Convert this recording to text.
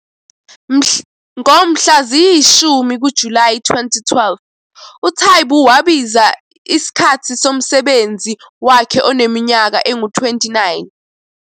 Ngomhla ziyi-10 kuJulayi 2012, uTaibu wabiza isikhathi somsebenzi wakhe oneminyaka engu-29.